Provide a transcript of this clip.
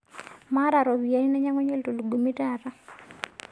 Maata ropiyiani nainyangunyie ltulugumi taata